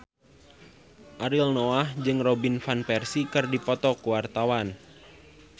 Ariel Noah jeung Robin Van Persie keur dipoto ku wartawan